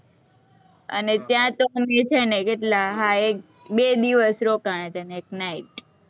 અને ત્યાં તો અમે છે ને કેટલા, હા, એક-બે દિવસ રોકાણા'તા અને એક night.